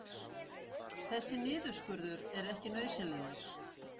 Þessi niðurskurður er ekki nauðsynlegur